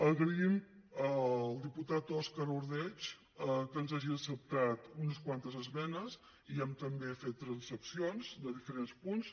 agraïm al diputat òscar ordeig que ens hagi acceptat unes quantes esmenes i hem també fet transaccions de diferents punts